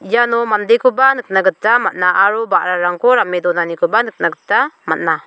iano mandekoba nikna gita man·a aro ba·rarangko rame donanikoba nikna gita man·a.